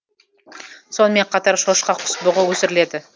сонымен қатар шошқа құс бұғы өсіріледі